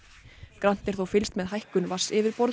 grannt er þó fylgst með hækkun